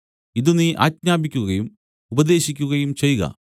ഇതു നീ ആജ്ഞാപിക്കുകയും ഉപദേശിക്കുകയും ചെയ്ക